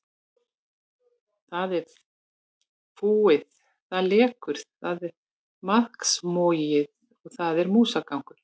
Það er fúið, það lekur, það er maðksmogið og þar er músagangur.